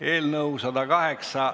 Eelnõu 108 ...